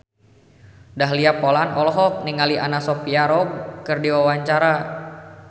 Dahlia Poland olohok ningali Anna Sophia Robb keur diwawancara